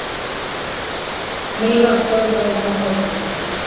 Milla staulaðist á fætur.